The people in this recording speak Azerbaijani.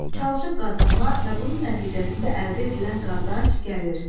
Çalışıb qazanma və bunun nəticəsində əldə edilən qazanc, gəlir.